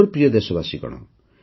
ମୋର ପ୍ରିୟ ଦେଶବାସୀଗଣ